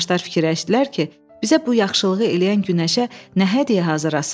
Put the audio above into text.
Ağaclar fikirləşdilər ki, bizə bu yaxşılığı eləyən günəşə nə hədiyyə hazırlasınlar.